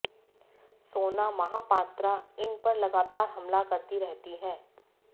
सोना महापात्रा इन पर लगातार हमला करती रहती हैं